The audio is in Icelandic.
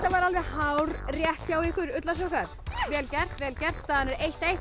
var alveg hárrétt hjá ykkur ullarsokkar vel gert vel gert staðan er eins